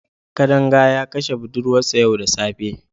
Kadanga ya kashe budurwarsa yau da safe.